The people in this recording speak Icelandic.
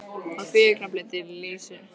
Á því augnabliki lýsir sólin upp herbergið.